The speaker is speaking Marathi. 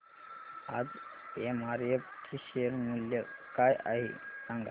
आज एमआरएफ चे शेअर मूल्य काय आहे सांगा